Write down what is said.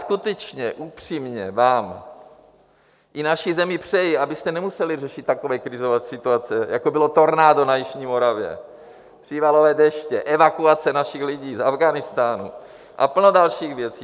Skutečně upřímně vám i naší zemi přeji, abyste nemuseli řešit takové krizové situace, jako bylo tornádo na jižní Moravě, přívalové deště, evakuace našich lidí z Afghánistánu a plno dalších věcí.